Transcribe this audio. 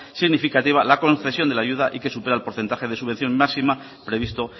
significativa la concesión de la ayuda y que supera el porcentaje de subvención máxima previsto